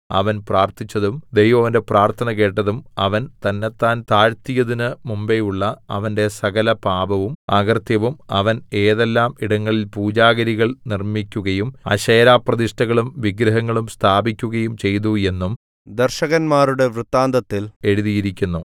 അവൻ പ്രാർത്ഥിച്ചതും ദൈവം അവന്റെ പ്രാർത്ഥന കേട്ടതും അവൻ തന്നെത്താൻ താഴ്ത്തിയതിന് മുമ്പെയുള്ള അവന്റെ സകലപാപവും അകൃത്യവും അവൻ ഏതെല്ലാം ഇടങ്ങളിൽ പൂജാഗിരികൾ നിർമ്മിക്കുകയും അശേരാപ്രതിഷ്ഠകളും വിഗ്രഹങ്ങളും സ്ഥാപിക്കുകയും ചെയ്തു എന്നും ദർശകന്മാരുടെ വൃത്താന്തത്തിൽ എഴുതിയിരിക്കുന്നു